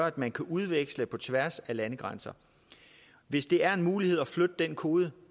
at man kan udveksle på tværs af landegrænser og hvis det er muligt at flytte den kode